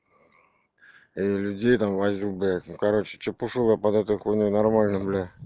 людей там возил блять ну короче чепушил я под эту хуйню нормально